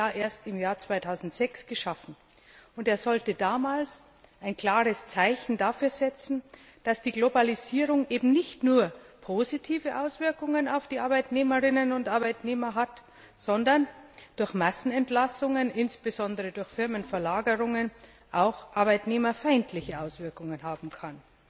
Er wurde ja erst im Jahr 2006 geschaffen, und er sollte damals ein klares Zeichen dafür setzen, dass die Globalisierung eben nicht nur positive Auswirkungen auf die Arbeitnehmerinnen und Arbeitnehmer hat, sondern durch Massenentlassungen, insbesondere durch Firmenverlagerungen, auch arbeitnehmerfeindliche Auswirkungen haben kann.